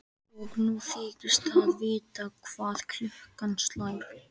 Og nú þykist það vita hvað klukkan slær.